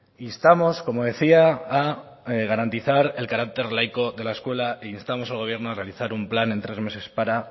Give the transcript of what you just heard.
instamos como decía a garantizar el carácter laico de la escuela e instamos al gobierno a realizar un plan en tres meses para